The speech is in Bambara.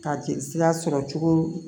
Ka jelisira sɔrɔ cogo